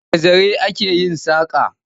Da zare ake yin saƙa.